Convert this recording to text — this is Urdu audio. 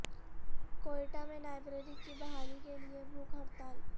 کوئٹہ میں لائبریری کی بحالی کے لیے بھوک ہڑتال